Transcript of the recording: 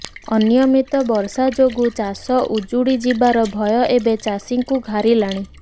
ଅନିୟମିତ ବର୍ଷା ଯୋଗୁଁ ଚାଷ ଉଜୁଡ଼ି ଯିବାର ଭୟ ଏବେ ଚାଷୀଙ୍କୁ ଘାରିଲାଣି